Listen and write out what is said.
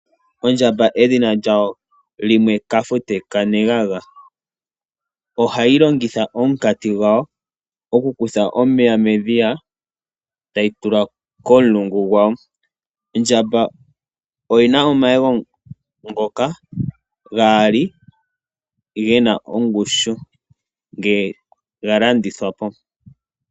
Ondjamba edhina lyawo limwe kahenge. Ohayi longitha omunkati gwawo okukutha omeya medhiya tayi tula komulungu gwayo. Ondjamba oyi na omayego gawo gaali ge na ongushu ngele ga landithwa po.